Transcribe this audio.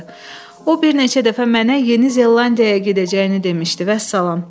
O bir neçə dəfə mənə Yeni Zelandiyaya gedəcəyini demişdi, vəssalam.